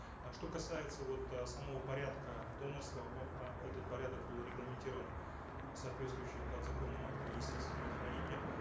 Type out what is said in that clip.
э что касается вот э самого порядка донорства э а этот порядок был регламентирован э соответствующим подзаконным актом министерства здравоохранения